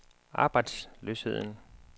arbejdsløsheden